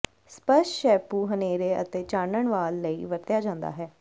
ਸਪੱਸ਼ਟ ਸ਼ੈਪੂ ਹਨੇਰੇ ਅਤੇ ਚਾਨਣ ਵਾਲ ਲਈ ਵਰਤਿਆ ਜਾਦਾ ਹੈ